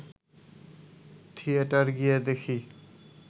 theatre গিয়ে দেখি